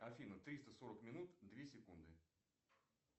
афина триста сорок минут две секунды